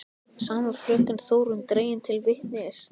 Sama fröken Þórunn dregin til vitnis.